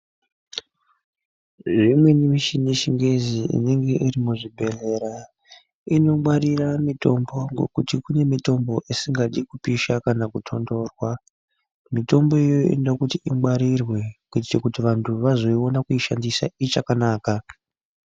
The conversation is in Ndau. Imweni michini inenge iri muzvibhehlera inongwarira mitombo nekuti kuneimweni mitombo isikadi kupishwa kana kutonhorwa mitombo iyoyo inoda kuti ingwarirwe kuti vantu vazoona kuishandisa ichakanaka